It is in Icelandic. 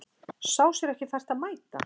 Sá sér ekki fært á að mæta